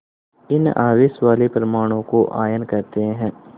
इन आवेश वाले परमाणुओं को आयन कहते हैं